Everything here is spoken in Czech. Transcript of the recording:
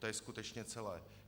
To je skutečně celé.